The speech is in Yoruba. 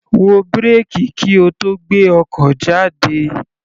Wo bírèkì kí o tó gbé ọkọ̀ jáde.